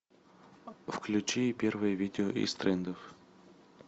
включи первое видео из трендов